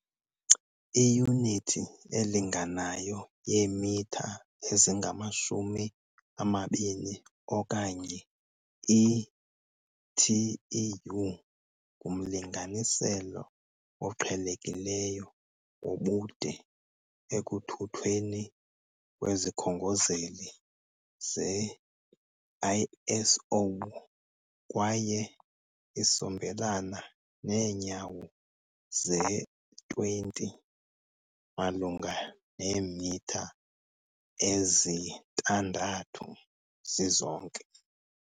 Iyunithi elinganayo yeemitha ezingamashumi amabini okanye iTEU, ngumlinganiselo oqhelekileyo wobude ekuthuthweni kwezikhongozeli ze "-ISO", kwaye isongelana neenyawo ze-20, malunga neemitha ezi-6, zizonke.